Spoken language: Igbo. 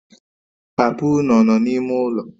Papa unu ọ nọ na-ime ụlọ?